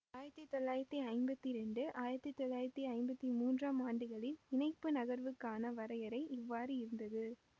ஆயிரத்தி தொள்ளாயிரத்தி ஐம்பத்தி இரண்டு ஆயிரத்தி தொள்ளாயிரத்தி ஐம்பத்தி மூன்றாம் ஆண்டுகளில் இணைப்பு நகர்வுக்கான வரையறை இவ்வாறு இருந்தது